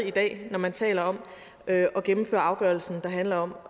i dag når man taler om at gennemføre afgørelsen der handler om